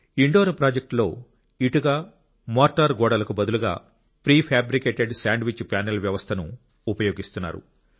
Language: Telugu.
ఇండోర్ ప్రాజెక్టులో ఇటుక మోర్టార్ గోడలకు బదులుగా ప్రీఫ్యాబ్రికేటెడ్ శాండ్విచ్ ప్యానెల్ వ్యవస్థను ఉపయోగిస్తున్నారు